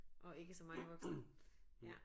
Og ikke så mange voksne ja